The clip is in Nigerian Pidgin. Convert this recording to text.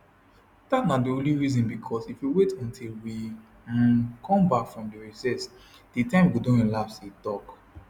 dat na di only reason bicos if we wait until we um come bak from recess di time go don lapse e tok